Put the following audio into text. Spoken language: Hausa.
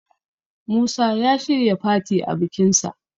Musa ya shirya fati a bikinsa